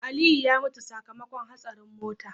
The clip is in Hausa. Aliyu ya mutu sakamakon hatsarin mota